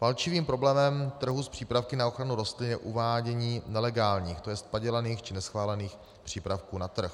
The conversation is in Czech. Palčivým problémem trhu s přípravky na ochranu rostlin je uvádění nelegálních, to jest padělaných či neschválených, přípravků na trh.